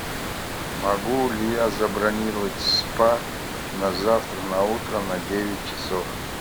могу ли я забронировать спа на завтра на утро на девять часов